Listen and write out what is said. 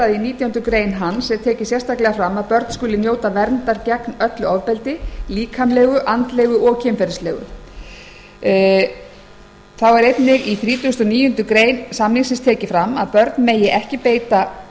að börn skuli njóta verndar gegn öllu ofbeldi líkamlegu andlegu og kynferðislegu þá er einnig í þrítugasta og níundu grein tekið fram að börn megi ekki beita